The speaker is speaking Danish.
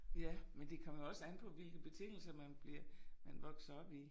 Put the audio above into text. Ja men det kommer jo også an på hvilke betingelser man bliver man vokser op i